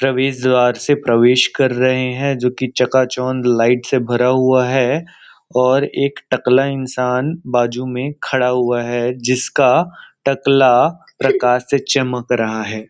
प्रवेश द्वार से प्रवेश कर रहे हैं जो कि चकाचौंद लाइट से भरा हुआ है और एक टकला इंसान बाजू में खड़ा हुआ है जिसका टकला प्रकाश से चमक रहा है।